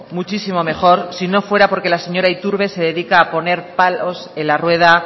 muchísimo mejor si no fuera porque la señora iturbe se dedica a poner palos en la rueda